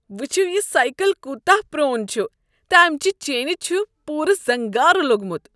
وٕچھو یہ سایكل كوٗتاہ پرون چھُ تہٕ امِچہِ چینہِ چھُ پوٗرٕ زنگارٕ لوٚگمُت۔